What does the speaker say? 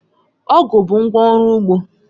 Ọ̀gu bụ ngwá ọrụ ugbo